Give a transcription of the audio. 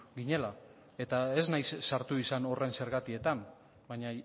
ginela eta ez naiz sartu izan horren zergatietan baina